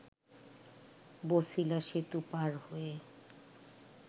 বছিলা সেতু পার হয়ে